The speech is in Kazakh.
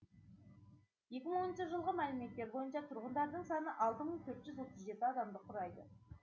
екі мың оныншы жылғы мәліметтер бойынша тұрғындарының саны алты мың төрт жүз отыз жеті адамды құрайды